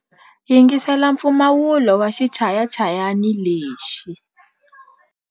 Yingisela mpfumawulo wa xichayachayani lexi.